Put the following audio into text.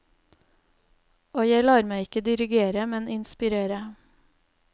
Og jeg lar meg ikke dirigere, men inspirere.